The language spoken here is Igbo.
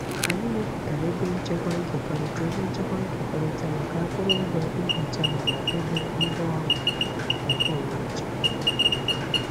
Anyị mepụtara ebe nchekwa nkekọrịta ebe nchekwa nkekọrịta maka akụrụngwa ihicha mana dobe ngwaọrụ nkeonwe iche.